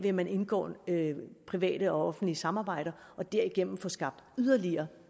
at man indgår private og offentlige samarbejder og derigennem får skabt yderligere